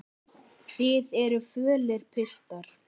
Þið eruð fölir, piltar.